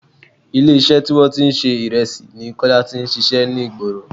Ilé iṣẹ́ tí wọn tí ń ṣe Ìrẹsì ni Kọ́lá tí ń ṣíṣe ní ìgboro.